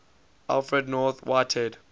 alfred north whitehead